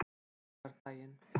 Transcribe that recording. laugardagurinn